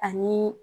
Ani